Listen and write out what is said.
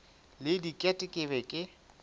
le diket ke be ke